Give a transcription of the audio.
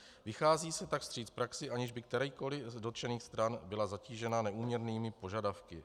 Vychází se tak vstříc praxi, aniž by kterákoliv z dotčených stran byla zatížena neúměrnými požadavky.